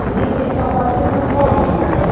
Elite só pode ser São Paulina, né?